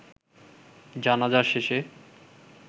জানাজা শেষে